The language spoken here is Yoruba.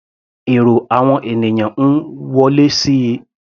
Èrò àwọn ènìyàn ń wọlé síi.